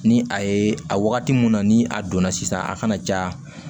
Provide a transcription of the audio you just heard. Ni a ye a wagati mun na ni a donna sisan a kana ja